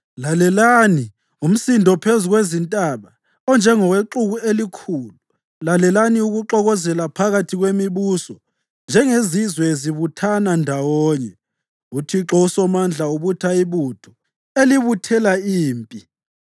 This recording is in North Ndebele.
Lalelani, umsindo phezu kwezintaba, onjengowexuku elikhulu. Lalelani, ukuxokozela phakathi kwemibuso njengezizwe zibuthana ndawonye! UThixo uSomandla ubutha ibutho elibuthela impi.